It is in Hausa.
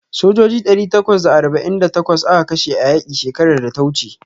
Sojoji ɗari takwas da arba'in da takwas aka kashe a yaƙi shekarar da ta wuce.